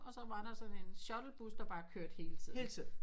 Og så var der sådan en shuttlebus der bare kørte hele tiden